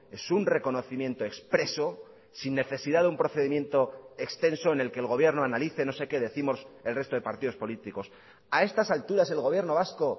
es un reconocimiento expreso sin necesidad de un procedimiento extenso en el que el gobierno analice no sé qué décimos el resto de partidos políticos a estas alturas el gobierno vasco